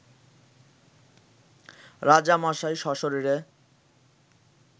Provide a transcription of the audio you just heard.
রাজামশাই সশরীরে